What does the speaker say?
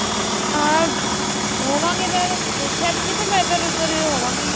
ਹਾਂ ਹੋਵਾਂਗੇ mam ਦੇਖਿਆ ਸੀ ਤਾਂ ਪਰ ਮੈਂ ਇੱਧਰ ਉੱਧਰ ਹੋਵਾਂਗੀ